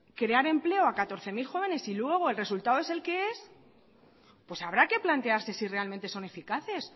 crear empleo a catorce mil jóvenes y luego el resultado es el que es pues habrá que plantearse si realmente son eficaces